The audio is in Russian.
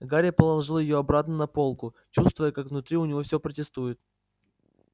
гарри положил её обратно на полку чувствуя как внутри у него все протестует